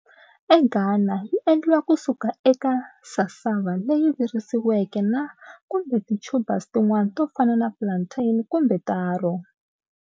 E Ghana, yi endliwa kusuka eka cassava leyi virisiweke na kumbe ti tubers tin'wana tofana na plantain kumbe taro.